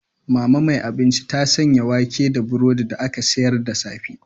Mama mai abinci ta sanya wake da burodi da aka sayar da safe.